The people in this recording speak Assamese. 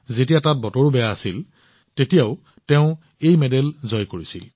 তেওঁ এনে পৰিস্থিতিত এই স্বৰ্ণ জয় কৰিছিল যেতিয়া তাত বতৰ খুব বেয়া আছিল